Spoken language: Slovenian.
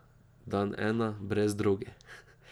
Dan ena brez droge.